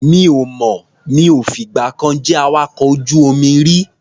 Mi ò mọ̀. Mi ò fìgbà kan jẹ́ awakọ̀ ojú-omi rí.